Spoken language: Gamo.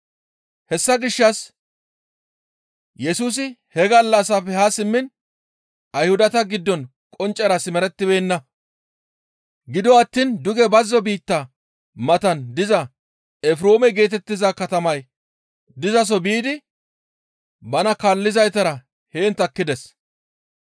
Hessa gishshas Yesusi he gallassafe haa simmiin Ayhudata giddon qonccera simerettibeenna. Gido attiin duge bazzo biitta matan diza Efreeme geetettiza katamay dizaso biidi bana kaallizaytara heen takkides.